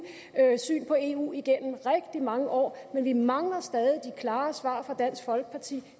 syn på eu igennem rigtig mange år men vi mangler stadig de klare svar fra dansk folkeparti